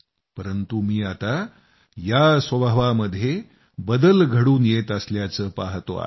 परंतु मी आता या स्वभावामध्ये बदल घडून येत असल्याचं पाहतोय